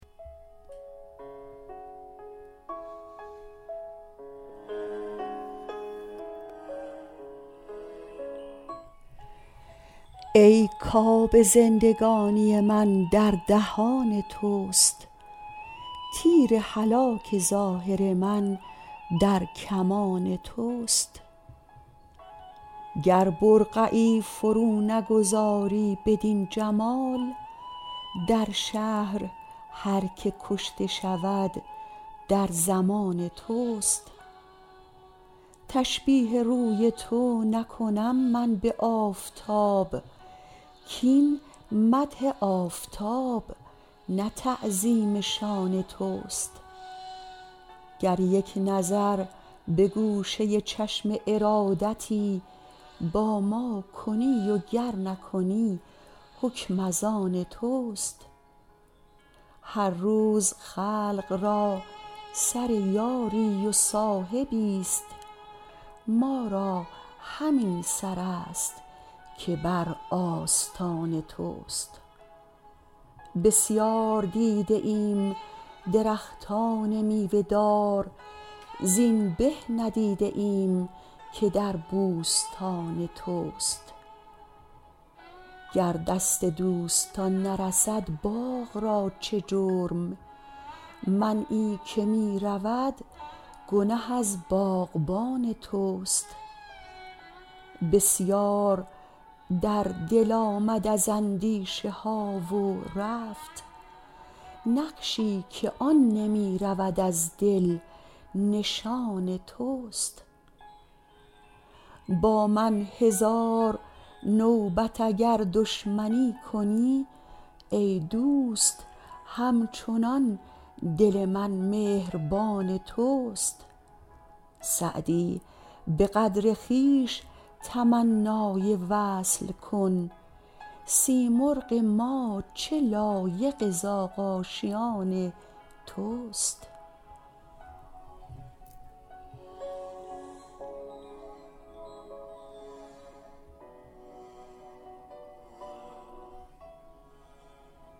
ای کآب زندگانی من در دهان توست تیر هلاک ظاهر من در کمان توست گر برقعی فرو نگذاری بدین جمال در شهر هر که کشته شود در ضمان توست تشبیه روی تو نکنم من به آفتاب کاین مدح آفتاب نه تعظیم شان توست گر یک نظر به گوشه چشم ارادتی با ما کنی و گر نکنی حکم از آن توست هر روز خلق را سر یاری و صاحبی ست ما را همین سر است که بر آستان توست بسیار دیده ایم درختان میوه دار زین به ندیده ایم که در بوستان توست گر دست دوستان نرسد باغ را چه جرم منعی که می رود گنه از باغبان توست بسیار در دل آمد از اندیشه ها و رفت نقشی که آن نمی رود از دل نشان توست با من هزار نوبت اگر دشمنی کنی ای دوست هم چنان دل من مهربان توست سعدی به قدر خویش تمنای وصل کن سیمرغ ما چه لایق زاغ آشیان توست